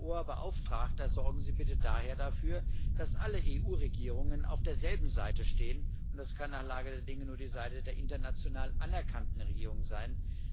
Herr Hoher Vertreter, sorgen Sie bitte daher dafür, dass alle EU Regierungen auf derselben Seite stehen, und das kann nach Lage der Dinge nur die Seite der international anerkannten Regierung sein